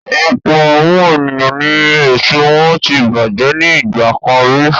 Ọ̀pọ̀ àwọn ènìyàn ni èso wọn tí bàjẹ́ ní ìgbà kan rí.